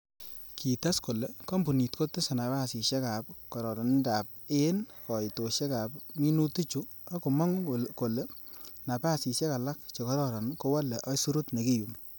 Kites kole, kompunit kotese napasisiek ab kororonindab en koitosiek ab minutichu, ak komongu kole napasisiek alak chekororon kowole aisurut nekiyumi.